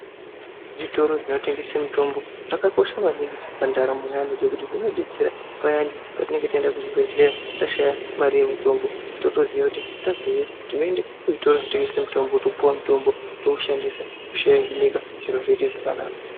Zvitoro zvinotengese mutombo zvakakosha maningi pandaramo yeAntu ngekuti zvinodetsera payani patinenge taenda kuzvibhehleya tashaya mari yemutombo totoziya kuti tabveyo tinoyenda kuzvitoro zvotengese mitombo topuwa mutombo toushandisa kushanjinika zviro zvoite zvakanaka